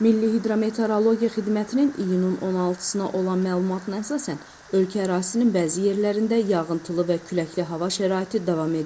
Milli hidrometeorologiya xidmətinin iyunun 16-sına olan məlumatına əsasən ölkə ərazisinin bəzi yerlərində yağıntılı və küləkli hava şəraiti davam edir.